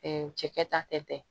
cɛkɛ ta tɛntɛn